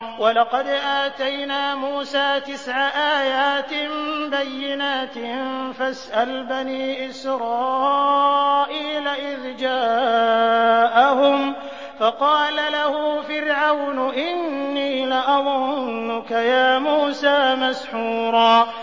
وَلَقَدْ آتَيْنَا مُوسَىٰ تِسْعَ آيَاتٍ بَيِّنَاتٍ ۖ فَاسْأَلْ بَنِي إِسْرَائِيلَ إِذْ جَاءَهُمْ فَقَالَ لَهُ فِرْعَوْنُ إِنِّي لَأَظُنُّكَ يَا مُوسَىٰ مَسْحُورًا